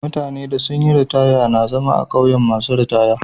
Mutane da sun yi ritaya na zama a'ƙauyen masun ritaya.